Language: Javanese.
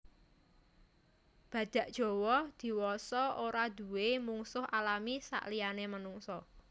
Badhak Jawa diwasa ora duwé mungsuh alami saliyané menungsa